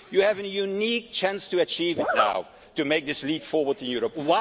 You have a unique chance to achieve it now, to make this leap forward in Europe.